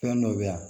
Fɛn dɔ bɛ yan